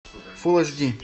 фулл эйч ди